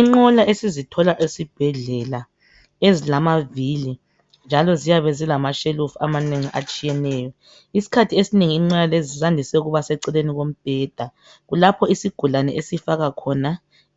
Inqola esizithola esibhedlela ezilamavhili njalo ziyabe zilamashelufu amanengi atshiyeneyo. Isikhathi esinengi inqola lezi zandise ukuba seceleni komubhedha, kulapho isigulane esifaka khona